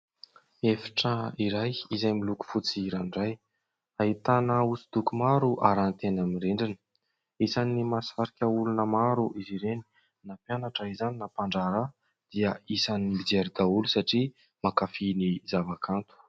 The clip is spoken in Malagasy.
Efitra iray izay miloko fotsy ranoray ahitana hosodoko maro aranty eny amin'ny rindrina, isan'ny mahasarika olona maro izy ireny na mpianatra izany na mpandraharaha dia isan'ny mijery daholo satria makafy ny zava-kanto.